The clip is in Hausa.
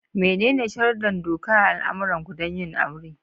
Menene sharuddan doka a al'ummarku don yin aure?